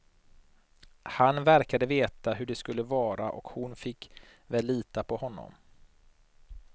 Han verkade veta hur det skulle vara och hon fick väl lita på honom.